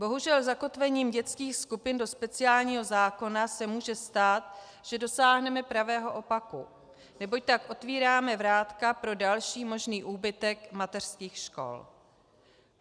Bohužel, zakotvením dětských skupin do speciálního zákona se může stát, že dosáhneme pravého opaku, neboť tak otevíráme vrátka pro další možný úbytek mateřských škol.